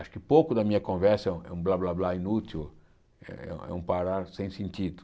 Acho que pouco da minha conversa é é um blá blá blá inútil, é é um parar sem sentido.